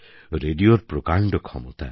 রেডিওর প্রকাণ্ড ক্ষমতা